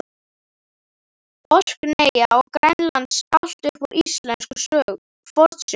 Orkneyja og Grænlands, allt upp úr íslenskum fornsögum.